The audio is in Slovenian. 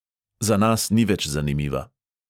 Za nas ni več zanimiva.